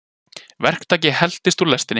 Verktaki heltist úr lestinni